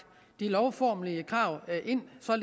de lovformelige krav